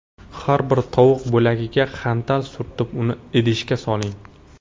Har bir tovuq bo‘lagiga xantal surtib, uni idishga soling.